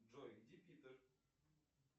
джой где питер